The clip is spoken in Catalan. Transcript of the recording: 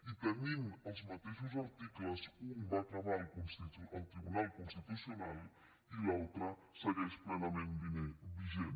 i tenint els mateixos articles un va acabar al tribunal constitucional i l’altre segueix plenament vigent